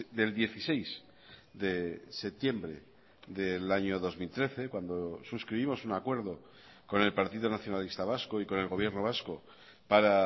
del dieciséis de septiembre del año dos mil trece cuando suscribimos un acuerdo con el partido nacionalista vasco y con el gobierno vasco para